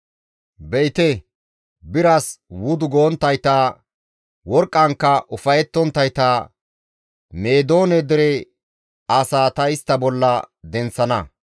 Be7ite, biras wudu gonttayta, worqqankka ufayettonttayta Meedoone dere asaa ta istta bolla denththana.